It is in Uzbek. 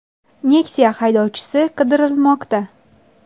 Nexia haydovchisi qidirilmoqda.